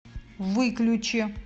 выключи